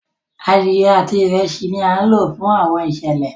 Adiẹ ati Ìrẹsí ní a lo fún Àwọn iṣẹlẹ